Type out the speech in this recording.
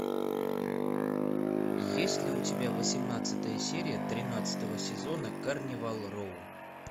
есть ли у тебя восемнадцатая серия тринадцатого сезона карнивал роу